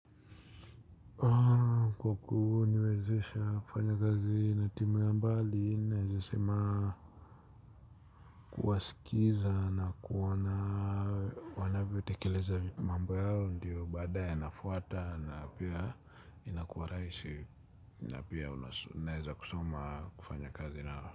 Kwa kuniwezesha kufanya kazi na timu ya mbali naezasema kuwasikiza na kuona wanavyotekeleza mambo yao ndiyo baada yanafuata na pia inakuwa rahisi na pia unaeza kusoma kufanya kazi nao.